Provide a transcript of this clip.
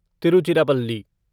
Tiruchirappalli